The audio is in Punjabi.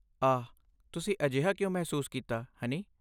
ਆਹ, ਤੁਸੀਂ ਅਜਿਹਾ ਕਿਉਂ ਮਹਿਸੂਸ ਕੀਤਾ, ਹਨੀ?